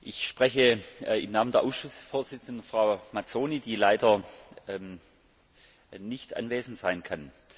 Ich spreche im Namen der Ausschussvorsitzenden Frau Mazzoni, die leider nicht anwesend sein kann.